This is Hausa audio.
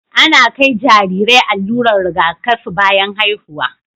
Ana kai Jarirai allurar Riga kafi bayan haihuwa